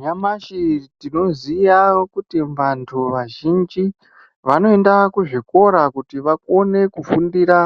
Nyamashi tinoziya kuti vantu vazhinji vanoenda kuzvikora kuti vakone kufundira